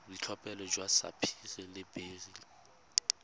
boitlhophelo jwa sapphire le beryl